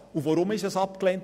Weshalb diese Ablehnung?